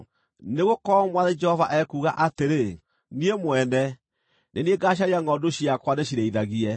“ ‘Nĩgũkorwo Mwathani Jehova ekuuga atĩrĩ: Niĩ mwene, nĩ niĩ ngaacaria ngʼondu ciakwa ndĩcirĩithagie.